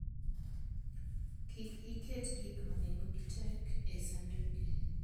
Kik iket gik ma nengogi tek e sanduge.